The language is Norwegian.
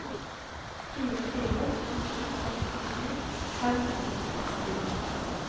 fire fire to to sekstisju fem hundre og seksti